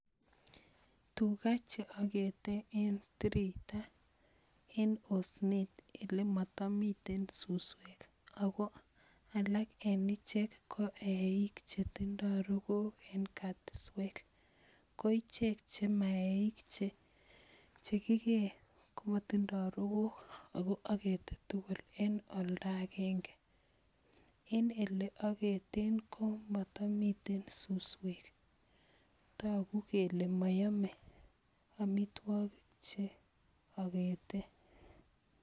Tukaa cheokete en tiriitaen osnet elemotomiten suswek ak ko alak en ichek ko eiik chetindo rokook en katiswek, ko ichek chema eiik choton chekikee komotindo rokook ak ko okete tukul en olda akeng'e, en elee oketen komotomiten suswek, tokuu kelee moyome omitwokik cheoketen.